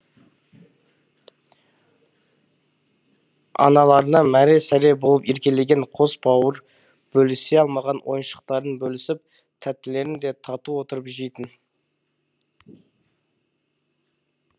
аналарына мәре сәре болып еркелеген қос бауыр бөлісе алмаған ойыншықтарын бөлісіп тәттілерін де тату отырып жейтін